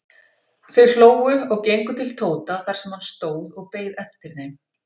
Þau hlógu og gengu til Tóta þar sem hann stóð og beið eftir þeim.